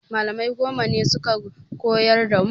Malamai goma ne suka koyar da mu